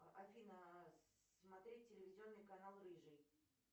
афина смотреть телевизионный канал рыжий